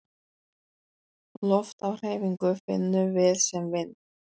Loft á hreyfingu finnum við sem vind.